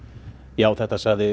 já þetta sagði